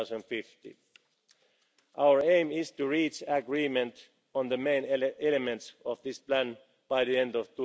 by 2050. Our aim is to reach agreement on the main elements of this plan by the